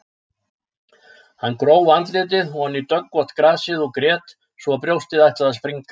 Hann gróf andlitið oní döggvott grasið og grét svo að brjóstið ætlaði að springa.